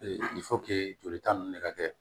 jolita ninnu ne ka kɛ